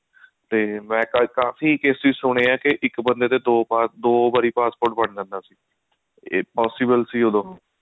ਤੇ ਮੈਂ ਕਾਫੀ cases ਸੁਣੇ ਆ ਇੱਕ ਬੰਦੇ ਦੇ ਦੋ ਦੋ ਵਾਰੀ passport ਬਣ ਜਾਂਦਾ ਸੀ ਇਹ possible ਸੀ ਉਦੋਂ